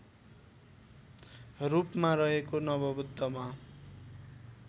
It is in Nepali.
रूपमा रहेको नमोबुद्धमा